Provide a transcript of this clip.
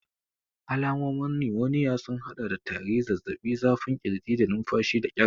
Alamomin numoniya sun haɗa da tari, zazzaɓi, zafin ƙirji, da numfashi da ƙyar.